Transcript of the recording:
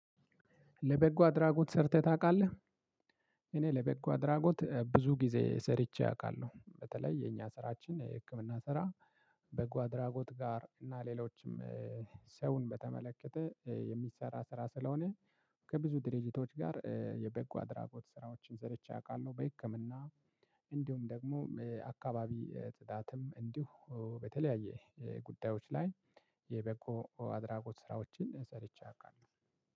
ለበጎ አድራጎት ሰርተህ ታውቃለህ? እኔ ለበጎ አድራጎት ብዙ ጊዜ ሰርቼ አውቃለሁ። በተለይ የኛ ስራችን የህክምና ስራ በጓድራጎት ጋር እና ሌሎችም። ሰውን በተመለከተ የሚሰራ ስራ ስለሆነ ከብዙ ድርጅቶች ጋር የበጎ አድራጎት ስራዎችን ሰርቼ አውቃለሁ። በህክምና እንዲሁም ደግሞ አካባቢ ፅዳትም እንዲሁ በተለያየ ጉዳዮች ላይ የበጎ አድራጎት ስራዎችን ሰርቼ አውቃለሁ።